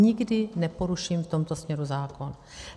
Nikdy neporuším v tomto směru zákon.